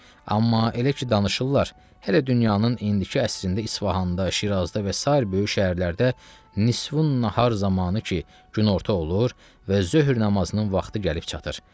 Amma elə ki danışırlar, hələ dünyanın indiki əsrində İsfahanda, Şirazda və sair böyük şəhərlərdə nisvu nahar zamanı ki günorta olur və zöhr namazının vaxtı gəlib çatır.